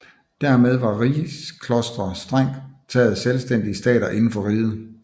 Dermed var rigsklostre strengt taget selvstændige stater inden for riget